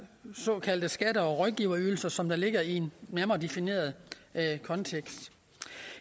såkaldte skatte og rådgiverydelser som ligger i en nærmere defineret kontekst